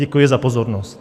Děkuji za pozornost.